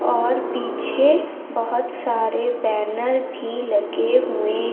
और पीछे बहुत सारे बैनर भी लगे हुए--